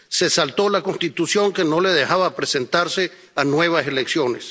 Se saltó la Constitución, que no le dejaba presentarse a nuevas elecciones.